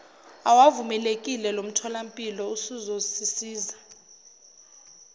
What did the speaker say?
awavumelekile lomtholampilo uzosisiza